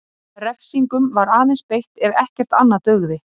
Refsingum var aðeins beitt ef ekkert annað dugði.